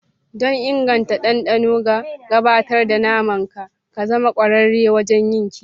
Don inganta dandano da gabatar da naman ka, ka zama ƙwararre wajen yin kiwo.